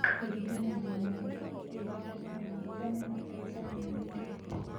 Kũringana na Mwaũra, ũganda no ĩnyitane na Tanzania na Kenya.